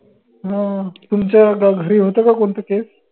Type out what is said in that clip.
हं तुमच्या ग घरी होत का कोणतं case?